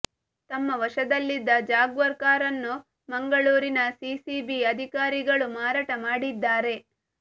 ತಮ್ಮ ವಶದಲ್ಲಿದ್ದ ಜಾಗ್ವಾರ್ ಕಾರನ್ನು ಮಂಗಳೂರಿನ ಸಿಸಿಬಿ ಅಧಿಕಾರಿಗಳು ಮಾರಾಟ ಮಾಡಿದ್ದಾರೆ